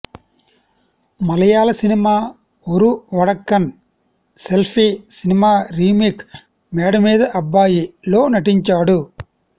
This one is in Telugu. మలయాళ cinema Oru Vadakkan selfie cinema remake Meda Meeda Abbayi లో నటించాడు